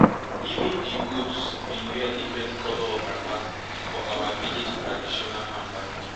even di goats bin wear different colour of wrappers for our village traditional farm party